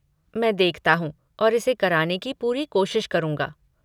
मैं देखता हूँ और इसे कराने की पूरी कोशिश करूँगा।